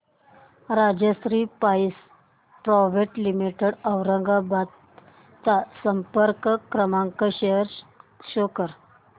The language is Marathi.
Rajshri pipes private limited Aurangabad चा संपर्क क्रमांक शो कर